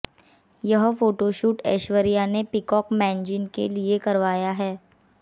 यह फोटोशूट ऐश्वर्या ने Peacock magazine के लिए करवाया है